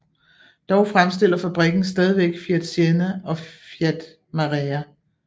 Dog fremstiller fabrikken stadigvæk Fiat Siena og Fiat Marea